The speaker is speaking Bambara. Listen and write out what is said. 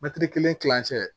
Mɛtiri kelen kilancɛ